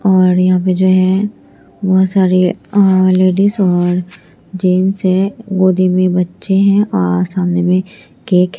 और यहाँ पे जो है बहुत सारे अ लेडिस और जेंट्स है गोदी में बच्चे हैं और सामने में केक --